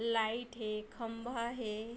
Light हे खम्बा हे।